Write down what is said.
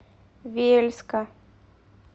вельска